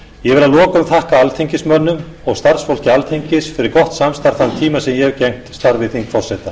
ég vil að lokum þakka alþingismönnum og starfsfólki alþingis fyrir gott samstarf þann tíma sem ég hef gegnt starfi þingforseta